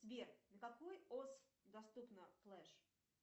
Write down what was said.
сбер на какой ос доступна флэш